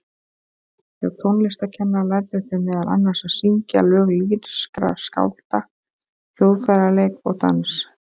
Hjá tónlistarkennara lærðu þau meðal annars að syngja lög lýrískra skálda, hljóðfæraleik og dans.